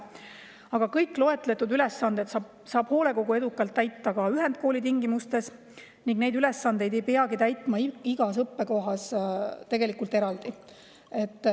Aga kõiki loetletud ülesandeid saab hoolekogu edukalt täita ka ühendkooli tingimustes ning neid ülesandeid ei peagi tegelikult täitma igas õppekohas eraldi.